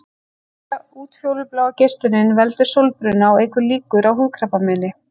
Útfjólubláa geislunin veldur sólbruna og eykur líkur á húðkrabbameini.